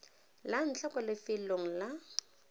la ntlha kwa lefelong la